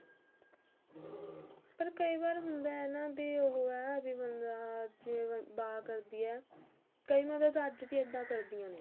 ਪਰ ਕਈ ਵਾਰ ਹੁੰਦੇ ਹੈ ਨਾ ਕੀ ਇਹ ਨਾ ਵੀ ਬੰਦਾ ਜਿਵੇਂ ਬਾ ਕਰਦੀ ਹੈ ਕਈ ਮਾਵਾਂ ਤਾਂ ਅੱਜ ਵੀ ਇੱਦਾਂ ਕਰਦੀਆਂ ਨੇ